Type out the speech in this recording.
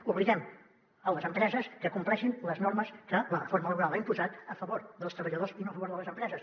obliguem les empreses a que compleixin les normes que la reforma laboral ha imposat a favor dels treballadors i no a favor de les empreses